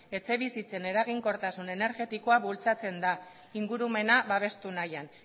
etxebizitzen eraginkortasun energetikoa bultzatzen da ingurumena babestu nahian